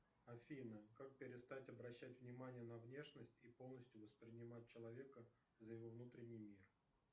афина как перестать обращать внимание на внешность и полностью воспринимать человека за его внутренний мир